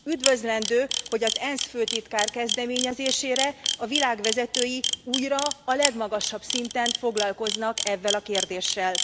Üdvözlendő, hogy az ENSZ főtitkár kezdeményezésére a világ vezetői újra a legmagasabb szinten foglalkoznak evvel a kérdéssel.